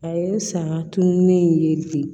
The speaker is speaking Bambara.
A ye saga tununnen in ye de